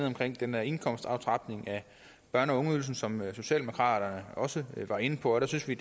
omkring den her indkomstaftrapning af børne og ungeydelsen som socialdemokraterne også var inde på der synes vi